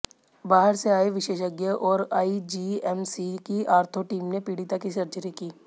बाहर से आए विशेषज्ञ और आईजीएमसी की ऑर्थो टीम ने पीडि़ता की सर्जरी की